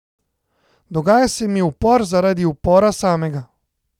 Dogaja se mi upor zaradi upora samega.